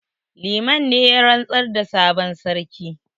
Liman ne ya rantsar da sabon sarki